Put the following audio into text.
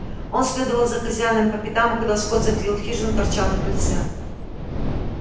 он следовал за хозяином по пятам а когда скотт заходил в хижину торчал на крыльце